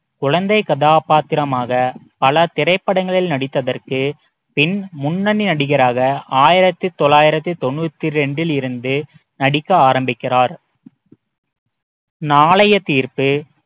குழந்தை கதாபாத்திரமாக பல திரைப்படங்களில் நடித்ததற்கு பின் முன்னணி நடிகராக ஆயிரத்தி தொள்ளாயிரத்தி தொண்ணூத்தி இரண்டிலிருந்து நடிக்க ஆரம்பிக்கிறார் நாளைய தீர்ப்பு